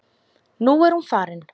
Nú er hún farin.